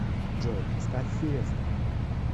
джой поставь фиеста